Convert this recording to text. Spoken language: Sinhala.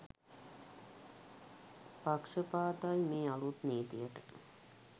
පක්ෂපාතයි මේ අලුත් නීතියට.